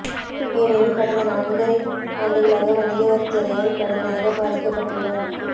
ஏனெனில் கடந்த நான்கரை ஆண்டுகளாக வணிக வரித்துறையால் கடுமையாகப் பாதிக்கப்பட்டுள்ளோம்